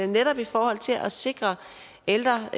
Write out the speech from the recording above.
netop i forhold til at sikre at ældre